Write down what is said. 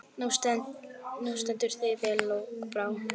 Þú stendur þig vel, Lokbrá!